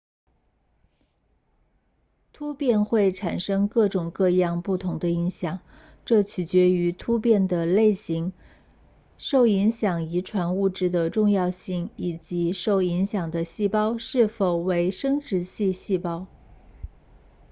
突变会产生各种各样不同的影响这取决于突变的类型受影响遗传物质的重要性以及受影响的细胞是否为生殖系细胞